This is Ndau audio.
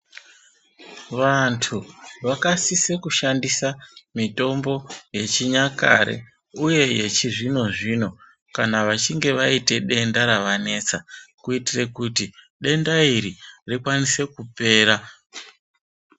Vantu vakasise kushandisa mitombo yechinyakare uye yechizvinozvino kana vachinge vaite denda ravanesa, kuitire kuti denda iri rikwanise kupera.